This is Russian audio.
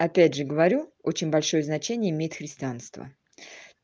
опять же говорю очень большое значение имеет христианство